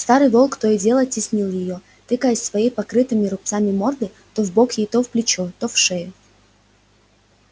старый волк то и дело теснил её тыкаясь своей покрытыми рубцами мордой то в бок ей то в плечо то в шею